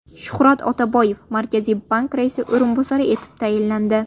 Shuhrat Otaboyev Markaziy bank raisi o‘rinbosari etib tayinlandi.